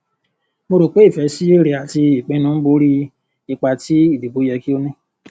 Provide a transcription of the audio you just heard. mo rò pé ìfẹ sí èrè àti ìpínú ń bò órí ìpà tí ìdìbò yẹ kí ó ní